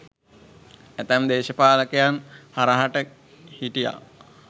ඇතැම් දේශපාලකයන් හරහට හිටියා